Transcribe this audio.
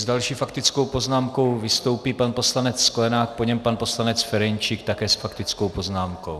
S další faktickou poznámkou vystoupí pan poslanec Sklenák, po něm pan poslanec Ferjenčík, také s faktickou poznámkou.